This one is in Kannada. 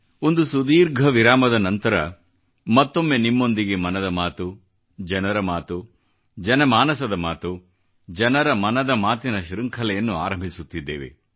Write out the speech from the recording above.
ಒಂದು ಸುದೀರ್ಘ ವಿರಾಮದ ನಂತರ ಮತ್ತೊಮ್ಮೆ ನಿಮ್ಮೊಂದಿಗೆ ಮನದ ಮಾತು ಜನರ ಮಾತು ಜನಮಾನಸದ ಮಾತು ಜನರ ಮನದ ಮಾತಿನ ಶೃಂಖಲೆಯನ್ನು ಆರಂಭಿಸುತ್ತಿದ್ದೇವೆ